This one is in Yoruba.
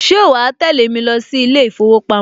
Ṣe wàá tẹ́lẹ̀ mi lọ sí ilé ìfowópamọ́?